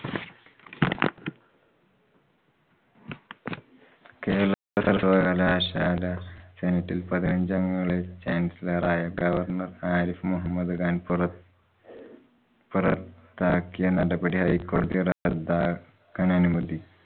കേരള സര്‍വ്വകലാശാല senate ല്‍ പതിനഞ്ചഗങ്ങളെ chancellor ആയ governor ആരിഫ് മുഹമ്മദ്‌ ഖാന്‍ പുറ~ പുറത്താക്കിയനടപടിയെ ഹൈകോടതി റദ്ദ് ആക്കാനനുമതി.